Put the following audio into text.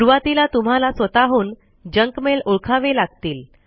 सुरवातीला तुम्हाला स्वतःहून जंक मेल ओळखावे लागतील